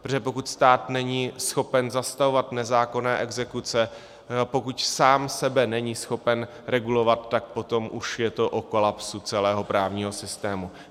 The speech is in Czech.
Protože pokud stát není schopen zastavovat nezákonné exekuce, pokud sám sebe není schopen regulovat, tak potom už je to o kolapsu celého právního systému.